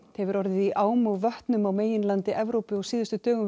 hefur orðið í ám og vötnum á meginlandi Evrópu á síðustu dögum